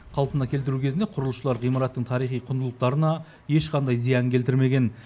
қалпына келтіру кезінде құрылысшылар ғимараттың тарихи құндылықтарына ешқандай зиян келтірмеген